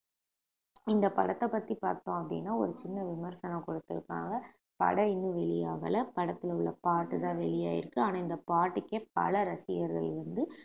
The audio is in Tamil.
இந்த படத்தை பத்தி பார்த்தோம் அப்படின்னா ஒரு சின்ன விமர்சனம் கொடுத்திருக்காங்க படம் இன்னும் வெளியாகலை படத்துல உள்ள பாட்டுதான் வெளியாயிருக்கு ஆனா இந்த பாட்டுக்கு பல ரசிகர்கள் வந்து